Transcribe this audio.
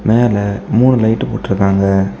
மேல மூணு லைட் போட்டுருக்காங்க.